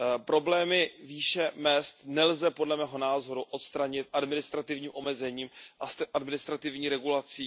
Problémy výše mezd nelze podle mého názoru odstranit administrativním omezením a administrativní regulací.